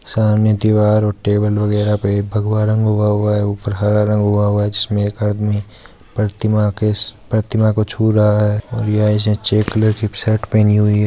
सामने दीवार और टेबल वगेरा पे भगवा रंग हुआ हुआ है ऊपर हरा रंग हुआ हुआ है जिसमे एक आदमी प्रतिमा को छु रहा है और ये चेक कलर की शर्ट पहनी हुई है।